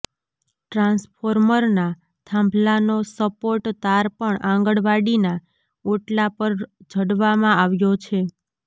ટ્રાન્સ્ફોર્મરના થાંભલાનો સપોર્ટ તાર પણ આંગણવાડીના ઓટલા પર જડવામાં આવ્યો છે